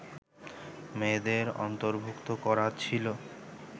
মেয়েদের অন্তর্ভূক্ত করা ছিল